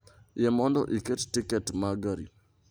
Yie mondo iket tiket ma gari